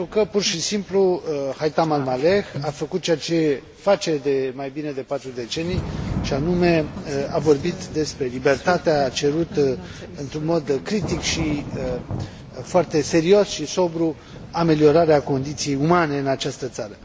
Pentru că, pur și simplu, Haitham Al Maleh a făcut ceea ce face de mai bine de 4 decenii, și anume, a vorbit despre libertatea cerută într un mod critic și foarte serios și sobru ameliorarea condiției umane în această țară.